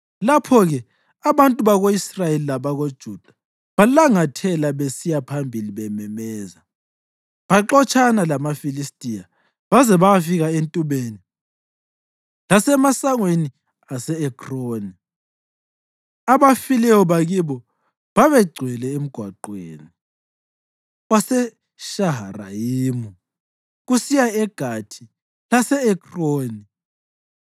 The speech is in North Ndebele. Lapho-ke abantu bako-Israyeli labakoJuda balangathela besiya phambili bememeza, baxotshana lamaFilistiya baze bayafika entubeni lasemasangweni ase-Ekroni. Abafileyo bakibo babegcwele emgwaqweni waseShaharayimu kusiya eGathi lase-Ekroni.